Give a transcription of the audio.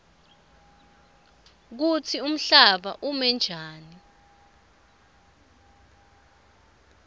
kutsi umhlaba umenjani